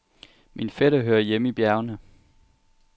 Min fætter hører hjemme i bjergene.